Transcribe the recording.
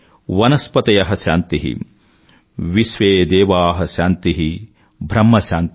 వనస్పతయ శాంతి విశ్వేదేవా శాంతి బ్రహ్మ శాంతి